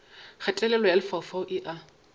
kgatelelo ya lefaufau e a